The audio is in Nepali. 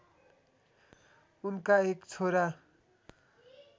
उनका एक छोरा